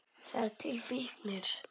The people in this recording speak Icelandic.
Það eru til fíknir.